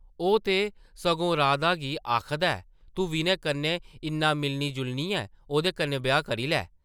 ओह् ते सगों राधा गी आखदा ऐ, ‘‘तूं विनय कन्नै इन्ना मिलनी-जुलनी ऐं, ओह्दे कन्नै ब्याह् करी लै ।’’